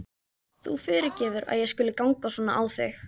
Þú fyrirgefur að ég skuli ganga svona á þig.